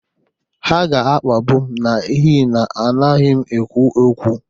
Ha ga-akpagbu m n'ihi na anaghị m ekwu okwu.